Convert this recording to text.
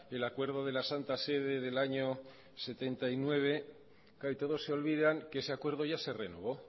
el acuerdo de la santa sede del año mil novecientos setenta y nueve claro y todos se olvidan que ese acuerdo ya se renovó